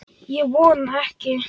Ég vona ekki